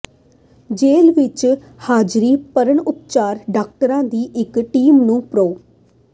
ਜੇਲ੍ਹ ਵਿੱਚ ਹਾਜ਼ਰੀ ਭਰਨ ਉਪਰੰਤ ਡਾਕਟਰਾਂ ਦੀ ਇੱਕ ਟੀਮ ਨੇ ਪ੍ਰੋ